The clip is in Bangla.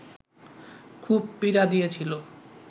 খুব পীড়া দিয়েছিল